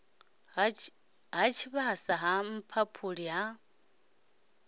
ha tshivhasa ha mphaphuli ha